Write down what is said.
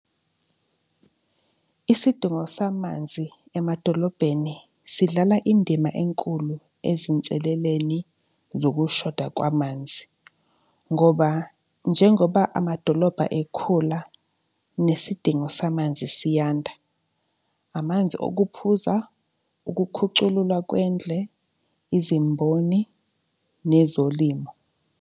Isidingo samanzi emadolobheni sidlala indima enkulu ezinseleleni zokushoda kwamanzi ngoba njengoba amadolobha ekhula, nesidingo samanzi siyanda. Amanzi okuphuza, ukukhuculula kwendle, izimboni nezolimo.